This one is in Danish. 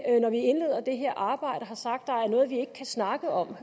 når vi indleder det her arbejde har sagt at vi ikke kan snakke om